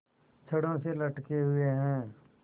छड़ों से लटके हुए हैं